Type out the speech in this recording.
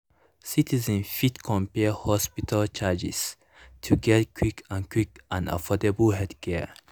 citizens fit compare hospital charges to get quick and quick and affordable healthcare.